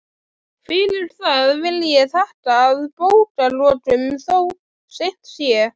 Fyrir það vil ég þakka að bókarlokum, þó seint sé.